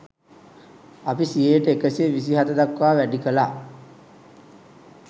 අපි සියයට එකසිය විසි හත දක්වා වැඩි කළා